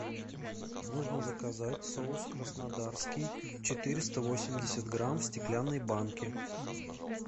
нужно заказать соус краснодарский четыреста восемьдесят грамм в стеклянной банке